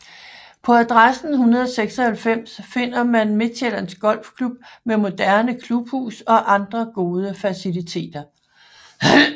På adressen 196 finder man Midtsjællands Golfklub med moderne klubhus og andre gode faciliteter